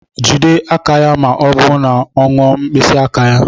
Jide aka ya ma ọ bụ na ọ ṅụọ mkpịsị aka ya.